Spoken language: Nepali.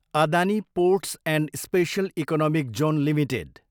Adani ports and special economic zone limited